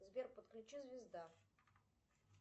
сбер подключи звезда